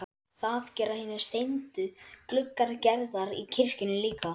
Það gera hinir steindu gluggar Gerðar í kirkjunni líka.